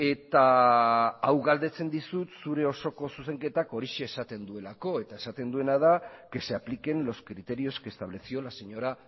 eta hau galdetzen dizut zure osoko zuzenketak horixe esaten duelakoeta esaten duena da que se apliquen los criterios que estableció la señora